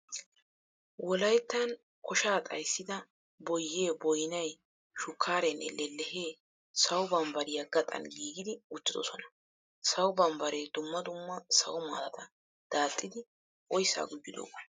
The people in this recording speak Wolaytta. Wolayttan koshsha xayssidda boyye, boynnay, shukkarenne lellehe sawo bambbariya gaxan giigiddi uttidosonna. Sawo bambbare dumma dumma sawo maatata daaxxiddi oyssa gujjidooga.